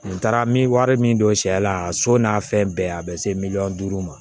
Nin taara n bɛ wari min don sɛ la a so n'a fɛn bɛɛ a bɛ se miliyɔn duuru ma